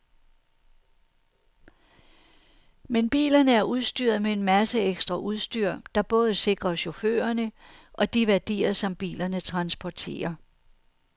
Men bilerne er udstyret med en masse ekstra udstyr, der både sikrer chaufførerne og de værdier, som bilerne transporterer.